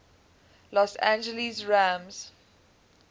los angeles rams